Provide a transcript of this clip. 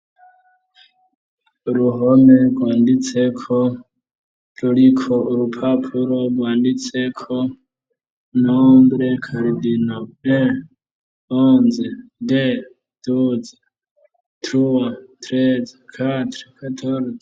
Uruhome rwanditse ko, ruriko urupapuro rwanditse ko nombre cardino en onze de duze truwa treze katre katoruze.